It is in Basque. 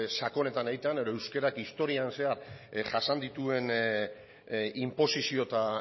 sakonetan egitea edo euskarak historian zehar jasan dituen inposizio eta